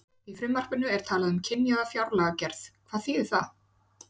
Í frumvarpinu er talað um kynjaða fjárlagagerð, hvað þýðir það?